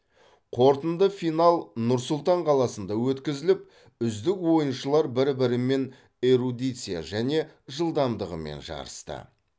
қорытынды финал нұр сұлтан қаласында өткізіліп үздік ойыншылар бір бірімен эрудиция және жылдамдығымен жарысты